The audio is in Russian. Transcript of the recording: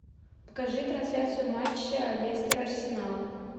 покажи трансляцию матча лестер арсенал